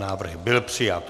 Návrh byl přijat.